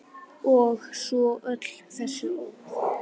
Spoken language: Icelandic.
Og svo öll þessi orð.